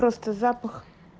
просто запах